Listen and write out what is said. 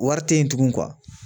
Wari tɛ yen tugun